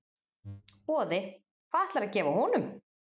Boði: Hvað ætlarðu að gefa honum?